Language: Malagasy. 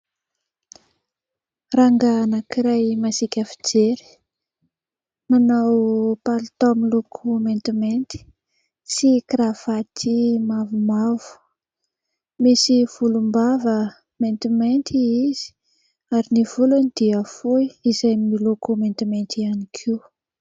Rangahy anankiray masiaka fijery, manao palitao miloko maintimainty sy kiravaty mavomavo, misy volombava maintimainty izy ary ny volony dia fohy izay miloko maintimainty ihany koa.